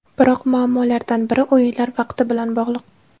Biroq muammolardan biri o‘yinlar vaqti bilan bog‘liq.